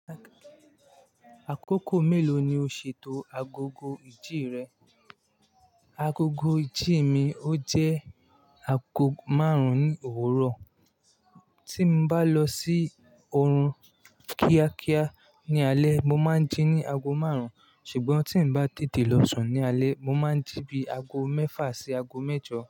Àkókò mélòó ni o ṣètò agogo ìjí rẹ? Agogo ìdí mi ó jẹ́ aago márùn-ún ní òwúrọ̀. Tí n bá lọ sí oorun kíákíá ní alé, mo máa ń jí ní aago márùn-ún, ṣùgbọ́n tí mio bá tètè lọ sùn ní alé, mo máa ń jí bí i aago mẹ́fà sí aago mẹ́jọ.